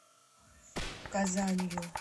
казанью